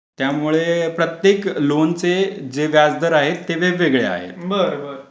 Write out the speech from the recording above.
त्यामुळे प्रत्येक लोनचे जे व्याजदर आहेत ते वेगवेगळ्या आहेत.